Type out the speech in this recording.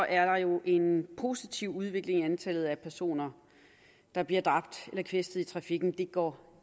er der jo en positiv udvikling i antallet af personer der bliver dræbt eller kvæstet i trafikken for det går